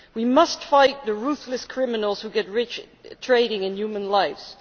We must fight the ruthless criminals who get rich trading in human lives.